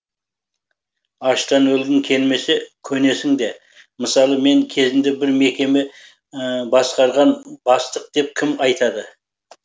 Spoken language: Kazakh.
аштан өлгің келмесе көнесің де мысалы мен кезінде бір мекеме басқарған бастық деп кім айтады